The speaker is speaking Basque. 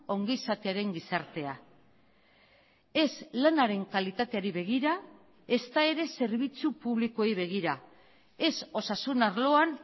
ongizatearen gizartea ez lanaren kalitateari begira ezta ere zerbitzu publikoei begira ez osasun arloan